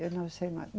Eu não sei mais.